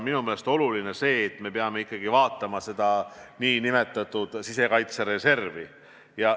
Minu meelest on oluline see, et me peame tõesti vaatama oma nn sisekaitsereservi.